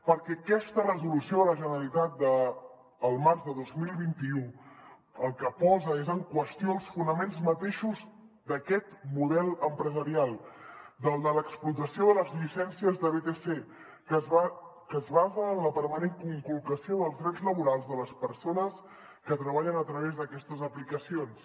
perquè aquesta resolució de la generalitat del març de dos mil vint u el que posa en qüestió són els fonaments mateixos d’aquest model empresarial el de l’explotació de les llicències de vtc que es basa en la permanent conculcació dels drets laborals de les persones que treballen a través d’aquestes aplicacions